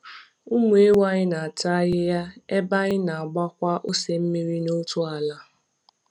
Ụmụ ewu anyị na-ata ahịhịa ebe anyị na-agbakwa ose mmiri n'otu ala.